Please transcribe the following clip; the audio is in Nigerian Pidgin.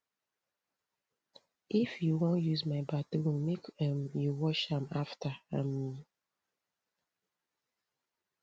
if you wan use my bathroom make um you wash am afta um